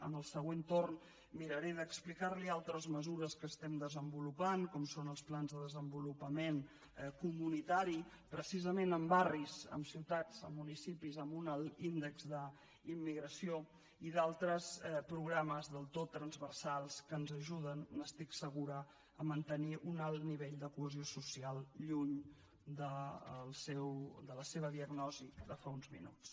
en el següent torn miraré d’explicarli altres mesures que estem desenvolupant com són els plans de desenvolupament comunitari precisament en barris en ciutats en municipis amb un alt índex d’immigració i d’altres programes del tot transversals que ens ajuden n’estic segura a mantenir un alt nivell de cohesió social lluny de la seva diagnosi de fa uns minuts